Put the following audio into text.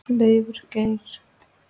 Leifur Geir.